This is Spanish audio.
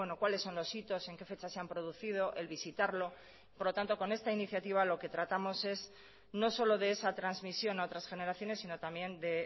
cuáles son los hitos en qué fecha se han producido el visitarlo por lo tanto con esta iniciativa lo que tratamos es no solo de esa transmisión a otras generaciones sino también de